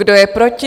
Kdo je proti?